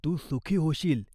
तू सुखी होशील. जा, रडू नको.